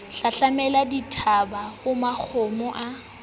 hlahlamela dithaba ha makgomo a